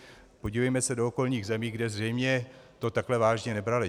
Podívejme se do okolních zemí, kde zřejmě to takhle vážně nebrali.